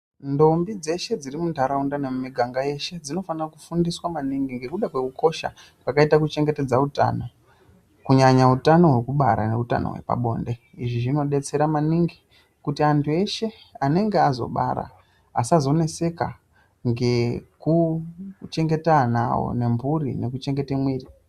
Ndombi dzeshe dziri muntaraunda nemumiganga yeshe dzinofanira kufundiswa maningi ngekuda kwekukosha kwakaita kchengetedza utano, kunyanya utano hwekubara neutano hwepabonde. Izvi zvinodetsera maningi kuti antu eshe anenge azobara asazoneseka ngekuchengeta ana awo, nemburi nekuchengete mwiri.